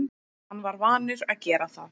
Hann var vanur að gera það.